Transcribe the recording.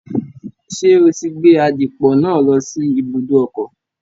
Ṣé o ti gbé àdìpọ̀ náà lọ sí ibùdó ọkọ̀?